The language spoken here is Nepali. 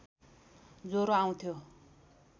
ज्वरो आउँथ्यो